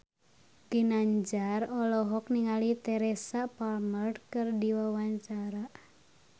Ginanjar olohok ningali Teresa Palmer keur diwawancara